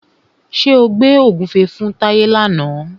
Ṣé o gbẹ́ ògúnfe fún Táyé làna?